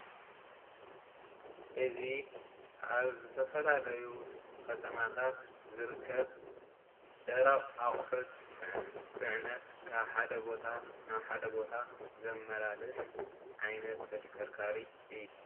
እዚ ኣብ ዝተፈላለዩ ከተማታት ዝርከብ ደረቅ ኣቑሑት ፅዕነት ካብ ሓደ ቦታ ናብ ሓደ ቦታ ዘመላልስ ዓይነት ተሽከርካሪ እዩ።